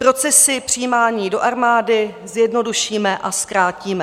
Procesy přijímání do armády zjednodušíme a zkrátíme.